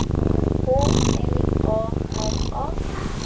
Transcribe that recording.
K L A R A